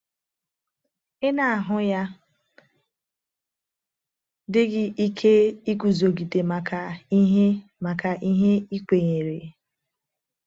Ị na - ahụ ya dị gị ike iguzogide maka ihe maka ihe i kwenyere?